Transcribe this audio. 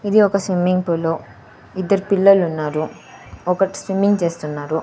ఇది ఒక swimming pool ఇద్దర్ పిల్లలున్నారు ఒకడ్ స్విమ్మింగ్ చేస్తున్నాడు.